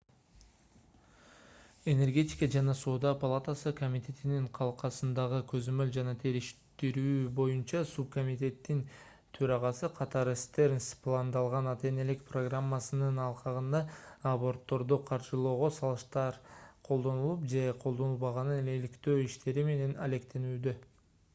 энергетика жана соода палатасы комитетинин калкасындагы көзөмөл жана териштирүү боюнча субкомитеттин төрагасы катары стернс пландалган ата-энелик программасынын алкагында абортторду каржылоого салыктар колдонулуп же колдонулбаганын иликтөө иштери менен алектенүүдө